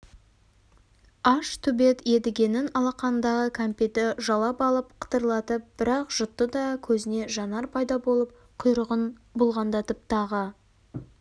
аш төбет едігенің алақанындағы кәмпитті жалап алып қытырлатып бір-ақ жұтты да көзіне жанар пайда болып құйрығын бұлғаңдатып тағы